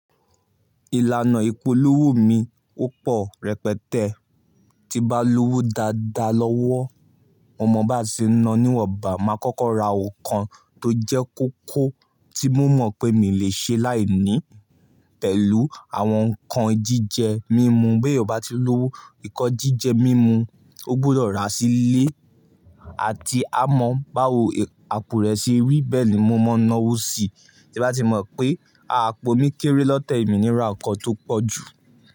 Ìlànà ìpolówó mi ò pọ̀ rẹpẹtẹ. Tí n bá lówó dáadáa lọ́wọ́, mo mọ̀ bá se ń ná níwọ̀nbà máa kọ́kọ́ ra nǹkan tó jẹ́ kókó tí mo mọ̀ pé mi lè ṣe láìní, pẹ̀lú àwọn nǹkan jíjẹ mímu. Beyan bá ti lówó, nǹkan jíjẹ mímu ó gbọdọ̀ ra sílé àti á mọ báwo àpò rẹ ṣe rí. Bẹ́ẹ̀ ni mo máa ń náwó síi tí bá ti mọ̀ pé àpò mi kéré lọ́tẹ̀ yi mi níra nǹkan tó pọ̀ jù.